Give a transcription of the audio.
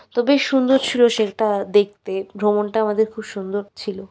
খুবই সুন্দর ছিল সেটা দেখতে ভ্রমণটা আমাদের খুব সুন্দর ছিল।